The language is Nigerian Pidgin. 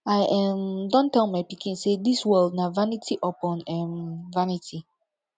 i um don tell my pikin say dis world na vanity upon um vanity